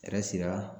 sera